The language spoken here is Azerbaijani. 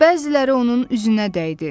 Bəziləri onun üzünə dəydi.